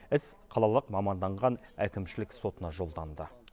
іс қалалық маманданған әкімшілік сотына жолданды